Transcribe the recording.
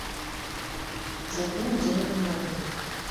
закинуть денег на мобильник